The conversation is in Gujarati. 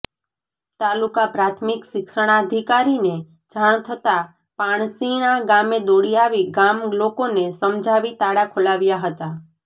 તાલુકા પ્રાથમિક શિક્ષણાધીકારીને જાણ થતા પાણશીણા ગામે દોડી આવી ગામ લોકોને સમજાવી તાળા ખોલાવ્યા હતા